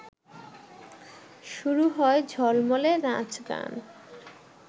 শুরু হয় ঝলমলে নাচ গান